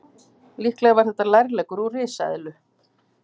Líklega var þetta lærleggur úr risaeðlu.